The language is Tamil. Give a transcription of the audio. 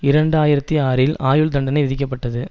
இரண்டு ஆயிரத்தி ஆறில் ஆயுள் தண்டனை விதிக்கப்பட்டது